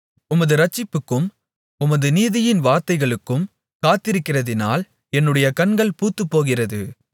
உமது இரட்சிப்புக்கும் உமது நீதியின் வார்த்தைகளுக்கும் காத்திருக்கிறதினால் என்னுடைய கண்கள் பூத்துப்போகிறது